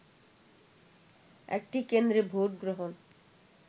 একটি কেন্দ্রে ভোটগ্রহণ